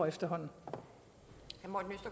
at stå over